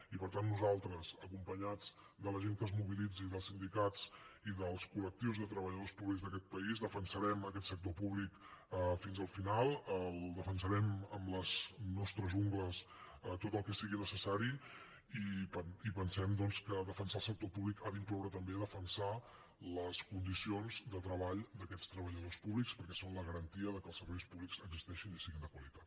i per tant nosaltres acompanyats de la gent que es mobilitzi dels sindicats i dels col·lectius de treballadors públics d’aquest país defensarem aquest sector públic fins al final el defensarem amb les nostres ungles tot el que sigui necessari i pensem doncs que defensar el sector públic ha d’incloure també defensar les condicions de treball d’aquests treballadors públics perquè són la garantia que els serveis públics existeixin i siguin de qualitat